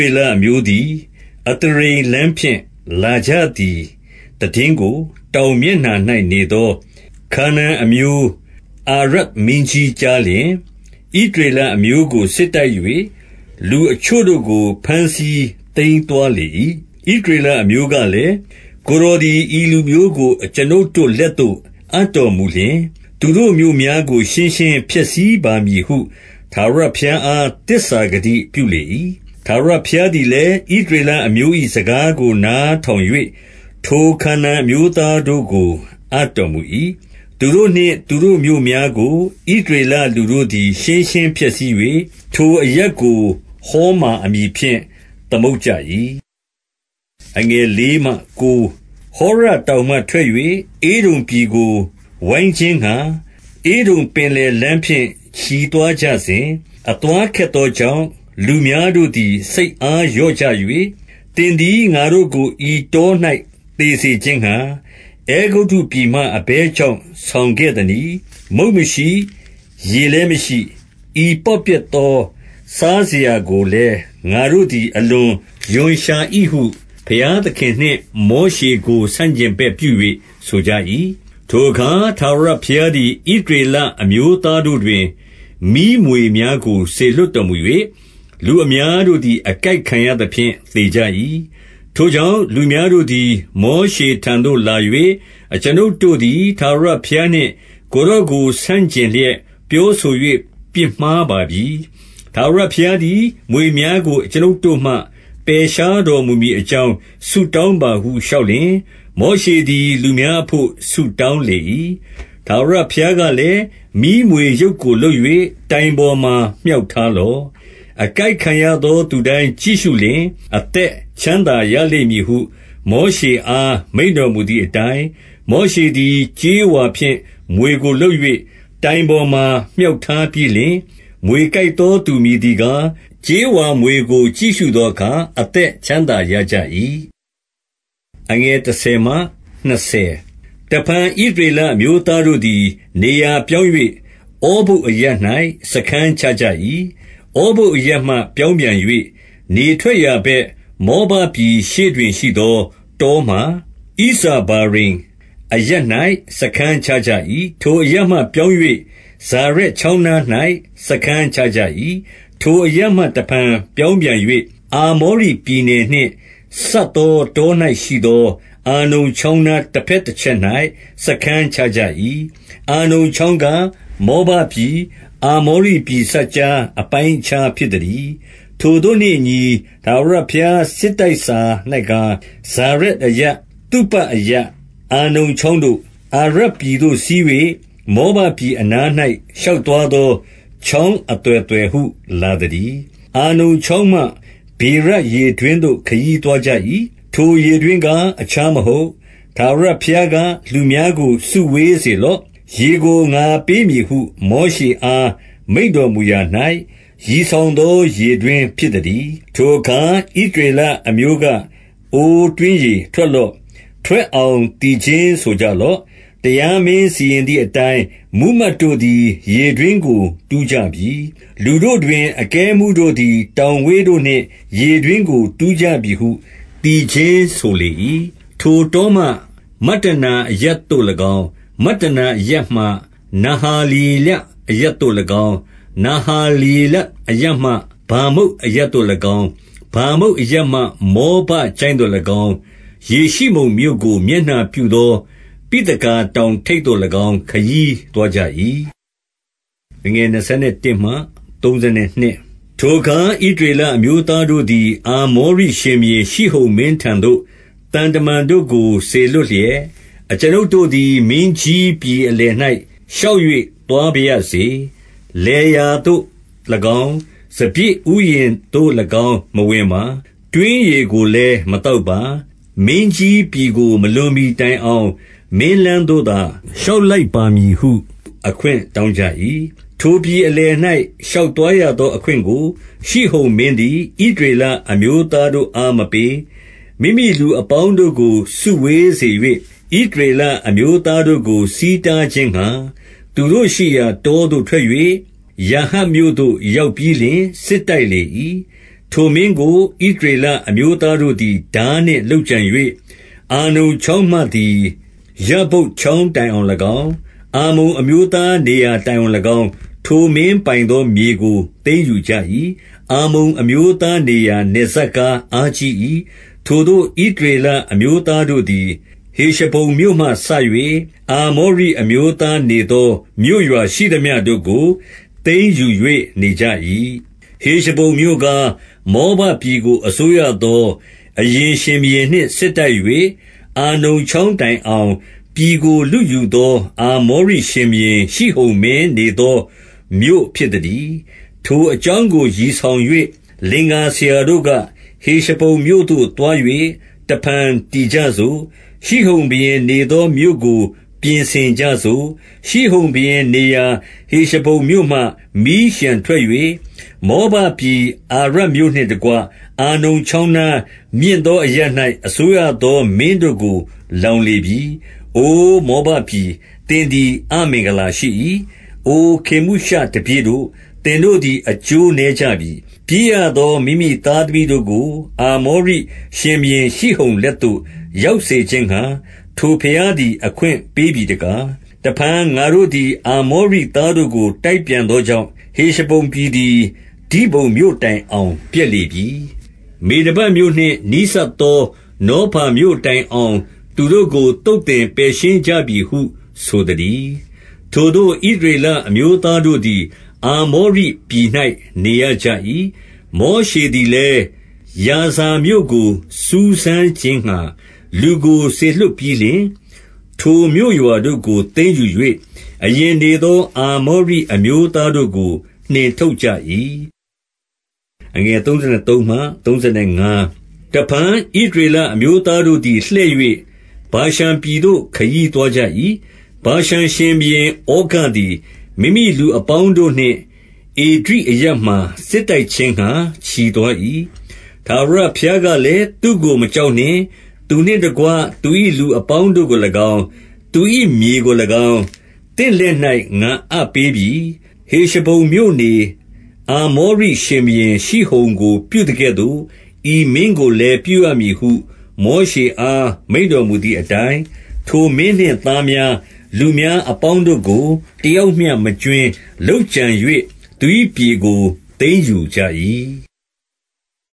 ေလအမျိုးသည် အသရိမ်လမ်းဖြင့် လာကြသည်သိတင်းကို တောင်မျက်နှာ၌နေသော ခါနာန် အမျိုး အာရဒ်မင်းကြီးကြားလျှင်၊ ဣသရေလအမျိုးကို စစ်တိုက်၍ လူအချို့တို့ကို ဘမ်းဆီးသိမ်းသွားလေ၏။ ဣသရေလအမျိုးကလည်း၊ ကိုယ်တော်သည် ဤလူမျိုးကို အကျွန်ုပ်တို့လက်သို့ အပ်တော်မူလျှင်၊ သူတို့ မြို့များကို ရှင်းရှင်းဖျက်ဆီးပါမည်ဟု ထာဝရဘုရားအား သစ္စာဂတိပြုလေ၏။ ထာဝရဘုရားသည်လည်း၊ ဣသရေလအမျိုး၏ စကားကို နားထောင်၍၊ ထိုခါနာန်အမျိုးသားတို့ကို အပ်တော်မူ၏။ သူတို့နှင့် သူတို့မြို့များကို ဣသရေလ လူတို့သည် ရှင်းရှင်းဖျက်ဆီး၍၊ ထိုအရပ်ကို ဟော်မာ အမည်ဖြင့် သမုတ်ကြ၏။ ဟောရတောင်မှ ထွက်၍ ဧဒုံပြည်ကို ဝိုင်းခြင်းငှါ၊ ဧဒုံကင်လယ်လမ်းဖြင့် ချီသွားကြစဉ်၊ အသွားခက်သော ကြောင့်၊ လူများတို့သည် စိတ်အားလျော့ကြ၍၊ သင်သည် ငါတို့ကို ဤတော၌ သေစေခြင်းငှါ၊ အဲဂုတ္တုပြည်မှ အဘယ်ကြောင့် ဆောင်ခဲ့သနည်း။ မုန့်မရှိ၊ ရေလည်းမရှိ၊ ဤပေါ့ပျက်သောစားစရာကိုလည်း ငါတို့သည် အလွန်ရွံရှာ၏ဟု ဘုရားသခင်နှင့် မောရှေကို ဆန့်ကျင်ဘက်ပြု၍ ဆိုကြ၏။ ထိုအခါ ထာဝရဘုရားသည်၊ ဣသရေလအမျိုး သားတို့တွင် မီးမြွေများကို စေလွှတ်တော်မူ၍၊ လူအများ တို့သည် အကိုက်ခံရသဖြင့် သေကြ၏။ ထိုကြောင့် လူများတို့သည် မောရှေထံသို့ လာ၍ အကျွန်ုပ်တို့သည် ထာဝရဘုရားနှင့် ကိုယ်တော်ကို ဆန့် ကျင်လျက် ပြောဆို၍ ပြစ်မှားပါပြီ။ ထာဝရဘုရားသည် မြွေများကို အကျွန်ုပ်တို့မှ ပယ်ရှားတော်မူမည်အကြောင်း ဆုတောင်းပါဟု လျှောက်လျှင်၊ မောရှေသည် လူများအဘို့ ဆုတောင်းလေ၏။ ထာဝရဘုရားကလည်း၊ မီးမြွေရုပ်ကိုလုပ်၍ တိုင်ပေါ်မှာ မြှောက်ထားလော့။ အကိုက်ခံရသော သူတိုင်း ကြည့်ရှုလျှင် အသက်ချမ်းသာရလိမ့်မည်ဟု မောရှေအား မိန့်တော်မူသည်အတိုင်း၊ မောရှေသည် ကြေးဝါဖြင့် မြွေကို လုပ်၍ တိုင် ပေါ်မှာ မြှောက်ချီထားပြီးလျှင်၊ မြွေကိုက်သောသူမည် သည်ကား၊ ကြေးဝါမြွေကို ကြည့်ရှုသောအခါ အသက် ချမ်းသာရကြ၏။ တဖန် ဣသရေလအမျိုးသားတို့သည် နေရာ ပြောင်း၍ ဩဗုတ်အရပ်၌ စားခန်းချကြ၏။ ဩဗုတ်အရပ်မှ ပြောင်းပြန်၍၊ နေထွက်ရာ ဘက်၊ မောဘပြည်ရှေ့တွင်ရှိသော တောမှာ၊ ဣဇာဗာရိမ် အရပ်၌ စားခန်းချကြ၏။ ထိုအရပ်မှ ပြောင်း၍၊ ဇာရက် ချောင်းနား၌ စားခန်းချကြ၏။ ထိုအရပ်မှ တဖန်ပြောင်းပြန်၍၊ အာမောရိပြည် နယ်နှင့် စပ်သော တော၌ရှိသော အာနုန်ချောင်းနား တဘက်တချက်၌ စားခန်းချကြ၏။ အာနုန်ချောင်းကား၊ မောဘပြည်၊ အာမောရိပြည်စပ်ကြားအပိုင်းအခြား ဖြစ်သတည်း။ ထိုသို့နှင့်အညီ၊ ထာဝရဘုရားစစ်တိုက်စာ၌ကား၊ ဇာရက်အရပ်၊ သုပအရပ်၊ အာနုန်ချောင်းတို့၊ အာရပြည်သို့ စီး၍ မောဘပြည်အနား၌ ရှောက်သွားသော ချောင်းအသွယ်သွယ်ဟု လာသတည်း။ အာနုန်ချောင်းမှ ဗေရရေတွင်းသို့ ခရီးသွားကြ၏။ ထိုရေတွင်းကား အခြားမဟုတ်၊ ထာဝရဘုရားက၊ လူများကို စုဝေးစေလော့၊ ရေကို ငါပေးမည်ဟု မောရှေအား မိန့်တော်မူရာ၌ ရည်ဆောင်သော ရေတွင်းဖြစ် သတည်း။ ထိုအခါ ဣသရေလအမျိုးက၊ အိုတွင်းရေ၊ ထွက် လော့။ ထွက်အောင် သီခြင်းဆိုကြလော့။ တရားမင်းစီရင်သည်အတိုင်း၊ မှူးမတ်တို့သည် ရေတွင်းကို တူးကြပြီ။ လူတို့တွင် အကဲအမှူးတို့သည် တောင်ဝေးတို့နှင့် ရေတွင်းကို တူးကြပြီဟု သီခြင်း ဆိုလေ၏။ ထိုတောမှ မတ္တနာအရပ်သို့၎င်း၊ မတ္တနာအရပ်မှ နဟာလျေလအရပ်သို့၎င်း၊ နဟာလျေလအရပ်မှ ဗာမုတ် အရပ်သို့၎င်း၊ ဗာမုတ်အရပ်မှ မောဘချိုင့်သို့၎င်း၊ ယေရှိမုန်မြို့ကို မျက်နှာပြုသော ပိသဂါတောင်ထိပ်သို့၎င်း ခရီးသွား ကြ၏။ ထိုအခါ ဣသရေလအမျိုးသားတို့သည်၊ အာ မောရိရှင်ဘုရင် ရှိဟုန်မင်းထံသို့ သံတမန်တို့ကို စေလွှတ် လျက်၊ အကျွန်ုပ်တို့သည် မင်းကြီးပြည်အလယ်၌ ရှောက်၍ သွားပါရစေ။ လယ်ယာသို့၎င်း၊ စပျစ်ဥယျာဉ် သို့၎င်း မဝင်ပါ။ တွင်းရေကိုလည်း မသောက်ပါ။ မင်းကြီး ပြည်ကို မလွန်မှီတိုင်အောင်၊ မင်းလမ်းသို့သာ ရှောက် လိုက်ပါမည်ဟု အခွင့်တောင်းကြ၏။ ထိုပြည်အလယ်၌ ရှောက်သွားရသော အခွင့်ကို၊ ရှိဟုန်မင်းသည် ဣသရေလအမျိုးသားတို့အား မပေး။ မိမိလူအပေါင်းတို့ကို စုဝေးစေ၍၊ ဣသရေလအမျိုးသား တို့ကို ဆီးတားခြင်းငှါ၊ သူတို့ရှိရာတောသို့ ထွက်၍ ယာဟတ်မြို့သို့ ရောက်ပြီးလျှင် စစ်တိုက်လေ၏။ ထိုမင်းကို၊ ဣသရေလအမျိုးသားတို့သည် ထား နှင့် လုပ်ကြံ၍၊ အာနုန်ချောင်းမှသည် ယဗ္ဗုတ်ချောင်း တိုင်အောင်၎င်း၊ အမ္မုန်အမျိုးသား နေရာတိုင်အောင်၎င်း၊ ထိုမင်းပိုင်သော မြေကို သိမ်းယူကြ၏။ အမ္မုန်အမျိုးသား နေရာ နယ်စပ်ကား အားကြီး၏။ ထိုသို့ ဣသရေလအမျိုးသားတို့သည်၊ ဟေရှဘုန် မြို့မှစ၍ အာမောရိအမျိုးသားနေသော မြို့ရွာရှိသမျှ တို့ကို သိမ်းယူ၍ နေကြ၏။ ဟေရှဘုန်မြို့ကား၊ မောဘပြည်ကို အစိုးရသော အရင်ရှင်ဘုရင်နှင့် စစ်တိုက်၍ အာနုန်ချောင်းတိုင် အောင် ပြည်ကို လုယူသော အာမောရိရှင်ဘုရင် ရှိဟုန် မင်းနေသောမြို့ ဖြစ်သတည်း။ ထိုအကြောင်းကို ရည်ဆောင်၍ လင်္ကာဆရာတို့ က၊ ဟေရှဘုန်မြို့သို့ သွား၍ တဖန်တည်ကြစို့။ ရှိဟုန် ဘုရင်နေသောမြို့ကို ပြင်ဆင်ကြစို့။ ရှိဟုန်ဘုရင်နေရာ ဟေရှဘုန်မြို့မှ မီးလျှံထွက် ၍ မောဘပြည်အာရမြို့နှင့်တကွ၊ အာနုန်ချောင်းနား၊ မြင့်သောအရပ်၌ အစိုးရသော မင်းတို့ကို လောင်လေပြီ။ အိုမောဘပြည်၊ သင်သည် အမင်္ဂလာရှိ၏။ အိုခေမုရှတပည့်တို့၊ သင်တို့သည် အကျိုးနည်းကြပြီ။ ပြေး ရသော မိမိသားသမီးတို့ကို အာမောရိရှင်ဘုရင်ရှိဟုန် လက်သို့ ရောက်စေခြင်းငှါ၊ ထိုဘုရားသည် အခွင့်ပေးပြီ တကား။ တဖန် ငါတို့သည် အာမောရိသားတို့ကို တိုက် ပြန်သောကြောင့်၊ ဟေရှဘုန်ပြည်သည် ဒိဘုန်မြို့တိုင် အောင် ပျက်လေပြီ။ မေဒဘမြို့နှင့် နီးစပ်သော နောဖာ မြို့တိုင်အောင် သူတို့ကို သုတ်သင်ပယ်ရှင်းကြပြီဟု ဆိုသတည်း။ ထိုသို့ ဣသရေလအမျိုးသားတို့သည် အာမောရိ ပြည်၌ နေရကြ၏။ မောရှေသည်လည်း၊ ယာဇာမြို့ကို စူးစမ်းခြင်းငှါ လူကို စေလွှတ်ပြီးလျှင်၊ ထိုမြို့ရွာတို့ကို သိမ်းယူ၍ အရင် နေသော အာမောရိအမျိုးသားတို့ကို နှင်ထုတ်ကြ၏။ တဖန် ဣသရေလအမျိုးသားတို့သည် လှည့်၍၊ ဗာရှန်ပြည်သို့ ခရီးသွားကြ၏။ ဗာရှန်ရှင်ဘုရင်ဩဃ သည်၊ မိမိလူအပေါင်းတို့နှင့် ဧဒြိအရပ်မှာ စစ်တိုက်ခြင်းငှါ ချီသွား၏။ ထာဝရဘုရားကလည်း၊ သူ့ကို မကြောက်နှင့်။ သူနှင့်တကွ သူ၏လူအပေါင်းကို၎င်း၊ သူ၏မြေကို၎င်း၊ သင့်လက်၌ ငါအပ်ပေးပြီ။ ဟေရှဘုန်မြို့နေ အာမောရိ ရှင်ဘုရင်ရှိဟုန်ကို ပြုသကဲ့သို့၊ ဤမင်းကိုလည်း ပြုရမည် ဟု မောရှေအား မိန့်တော်မူသည်အတိုင်း၊ ထိုမင်းနှင့်သားများ၊ လူများအပေါင်းတို့ကို တယောက်မျှ မကြွင်းလုပ်ကြံ၍ သူ၏ပြည်ကို သိမ်းယူ ကြ၏။